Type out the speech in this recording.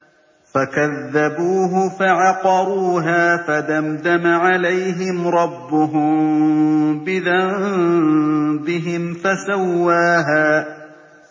فَكَذَّبُوهُ فَعَقَرُوهَا فَدَمْدَمَ عَلَيْهِمْ رَبُّهُم بِذَنبِهِمْ فَسَوَّاهَا